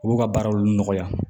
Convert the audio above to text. U b'u ka baaraw nɔgɔya